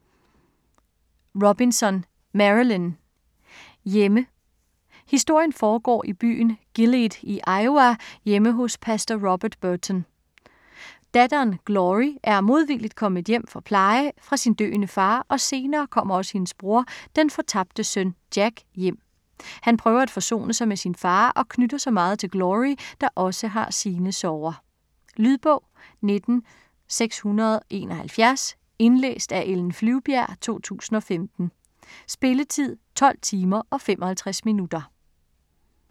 Robinson, Marilynne: Hjemme Historien foregår i byen Gilead i Iowa hjemme hos pastor Robert Boughton. Datteren Glory er (modvilligt) kommet hjem for pleje sin døende far og senere kommer også hendes bror - den fortabte søn Jack - hjem. Han prøver at forsone sig med sin far og knytter sig meget til Glory, der også har sine sorger. Lydbog 19671 Indlæst af Ellen Flyvbjerg, 2015. Spilletid: 12 timer, 55 minutter.